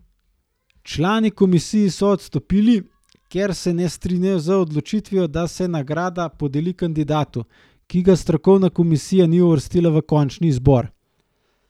Člani komisije so odstopili, ker se ne strinjajo z odločitvijo, da se nagrada podeli kandidatu, ki ga strokovna komisija ni uvrstila v končni izbor.